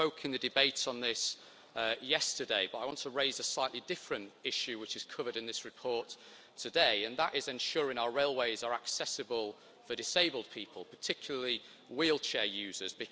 I spoke in the debate on this yesterday, but I want to raise a slightly different issue which is covered in this report, and that is ensuring our railways are accessible for disabled people, and particularly wheelchair users.